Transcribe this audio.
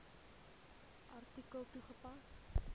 artikel toegepas